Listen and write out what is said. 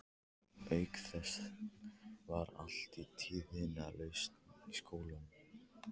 Auk þess var allt tíðindalaust í skólanum.